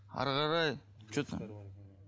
әрі қарай что там